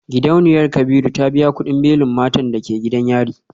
Gidauniyar kabiru ta biya kudin belin matan da ke gidan yari.